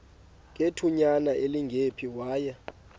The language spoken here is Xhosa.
ngethutyana elingephi waya